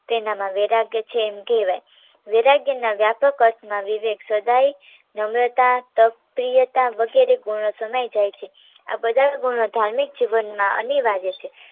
તેનામા વૈરાગ્ય છે એમ કહેવાય વૈરાગ્ય ના વ્યાપક અર્થમાં વિવેક સદાય નમ્રતા તપ પ્રિયતા વગેરે ગુણો સમાય જાય છે આ બધા ગુણો ધાર્મિક જીવનમાં અનિવાર્ય છે